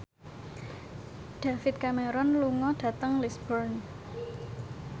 David Cameron lunga dhateng Lisburn